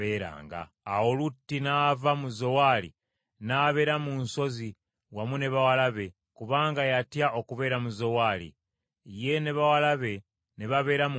Awo Lutti n’ava mu Zowaali, n’abeera mu nsozi wamu ne bawala be, kubanga yatya okubeera mu Zowaali. Ye ne bawala be ne babeera mu mpuku.